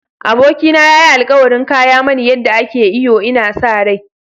Abokina ya yi alkawarin koya mani yadda ake iyo, ina sa rai.